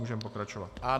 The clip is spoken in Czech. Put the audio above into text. Můžeme pokračovat.